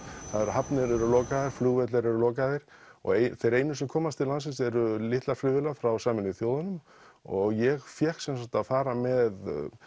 hafnir eru lokaðar flugvellir eru lokaðir og einu sem komast til landsins eru litlar flugvélar frá Sameinuðu þjóðunum og ég fékk sem sagt að fara með